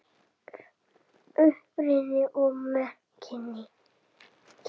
Uppruni og merking